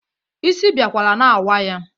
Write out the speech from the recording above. Isi biakwara na-awa ya.